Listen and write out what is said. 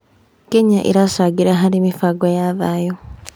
Kenya ĩracangĩra harĩ mĩbango ya thayũ.